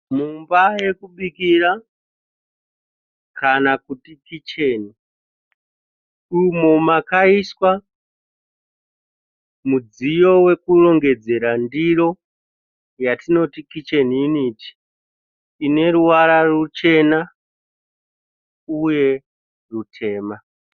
Mumba yokubikira kana kuti kicheni umo makaiswa mudziyo wokurongedzera ndiro yatinoti kicheni yuniti ine ruvara ruchena uye rutema.